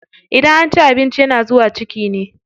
Idan an ci abinci yana zuwa ciki ne.